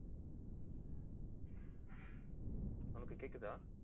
உனக்கு கேக்குதா